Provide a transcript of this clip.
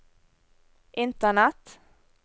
internett